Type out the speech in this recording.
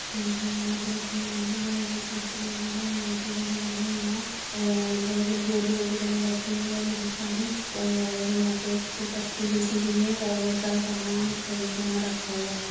के वगैरा यहां पे (पर) रखे हुए हैं बड़े बड़े पोस्टर लगे हैं लाइटें वगैरा हैं यहां और मतलब बोरी वगैरा यहां रखी हुई हैं बहुत सारी और यहां पे (पर ) एक पट्टी जैसी भी है और बहुत सारा सामान है जो यहाँ रखा हुआ है।